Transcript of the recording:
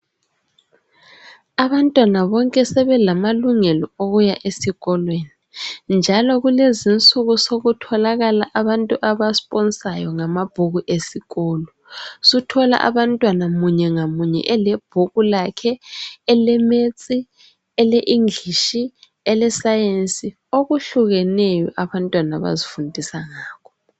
abantwana bonke sebelamalungelo okuya esikolweni njalo kulezinsuku sokutholakala abantu aba sponsayo ngamabhuku esikolo suthola abantwana munye ngamunye elebhuku lakhe ele maths ele English ele Science okuhlukeneyo abantwana abazifundisa ngakho